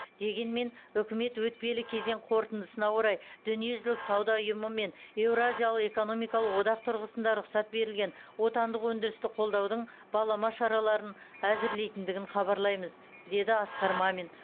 дегенмен үкімет өтпелі кезең қорытындысына орай дүниежүзілік сауда ұйымы мен еуразиялық экономикалық одақ тұрғысында рұқсат берілген отандық өндірісті қолдаудың балама шараларын әзірлейтіндігін хабарлаймыз деді асқар мамин